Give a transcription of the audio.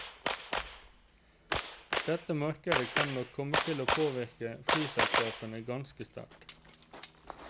Dette markedet kan nok komme til å påvirke flyselskapene ganske sterkt.